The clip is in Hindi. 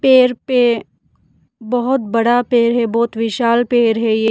पेर पे बहोत बड़ा पेड़ है बहोत विशाल पेड़ है ये।